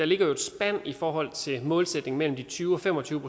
ligger et spænd i forhold til målsætningen mellem de tyve og fem og tyve